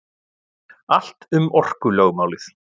Allt um orkulögmálið.